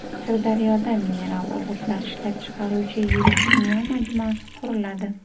Sirdaryoda mineral o‘g‘itlar ishlab chiqaruvchi yirik kimyo majmuasi quriladi.